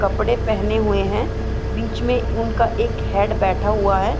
कपड़े पहने हुए हैं बीच में उनका एक हेड बैठा हुआ है।